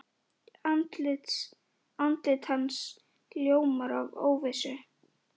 Andlit hans ljómar af óvissu.